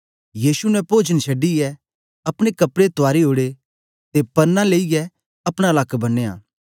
यीशु ने पोजन छडीयै अपने कपड़े तुआरी ओड़े ते प्रना लेईयै अपना लक्क बन्नयां